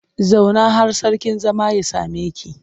Zauna har sarkin zama ya same ki!